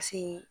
Paseke